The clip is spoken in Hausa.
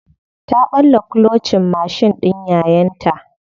Ta ɓalla kulocin mashin ɗin yayanta.